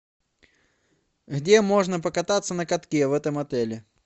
где можно покататься на катке в этом отеле